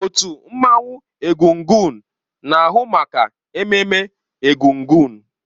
Otu mmanwụ egúngún na-ahụ maka ememme egúngún.